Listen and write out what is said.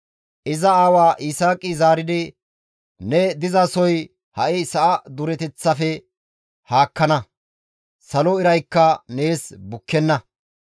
Iza aawa Yisaaqi zaaridi, «Ne dizasoy ha sa7a dureteththaafe haakkana; salo iraykka nees bukkenna.